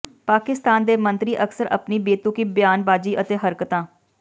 ਪਾਕਿਸਤਾਨ ਦੇ ਮੰਤਰੀ ਅਕਸਰ ਆਪਣੀ ਬੇਤੁਕੀ ਬਿਆਨਬਾਜ਼ੀ ਅਤੇ ਹਰਕਤਾਂ